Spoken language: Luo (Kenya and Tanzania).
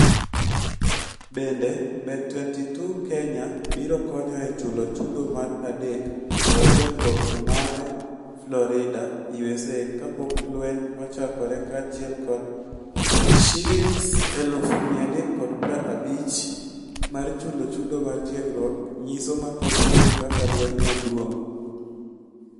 Bende, Bet22 Kenya biro konyo e chulo chudo mar dak kod tiegruok mare Florida, USA kapok lweny ochakore kaachiel kod Sh350,000 mar chulo chudo mar tiegruok nyiso mathoth kuom kaka lwenyno duong'.